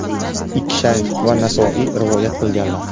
Ikki shayx va Nasoiy rivoyat qilganlar.